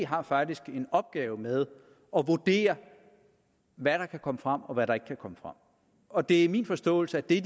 har faktisk en opgave med at vurdere hvad der kan komme frem og hvad der ikke kan komme frem og det er min forståelse at de